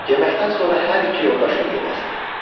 Yeməkdən sonra hər iki yoldaşı yuxu basdı.